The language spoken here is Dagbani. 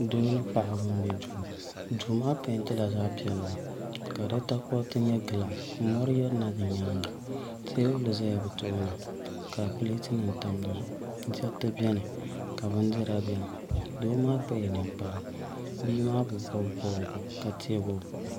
Doo ni paɣaba n bɛ duu duu maa peentila zaɣ piɛlli ka di takoriti nyɛ gilaas ka mori yirina di nyaanga teebuli ʒɛla bi tooni ka pileet nim tam dizuɣu diriti biɛni ka bindira biɛni doo maa kpala ninkpara bia maa bi bob bobga ka teegi o boɣu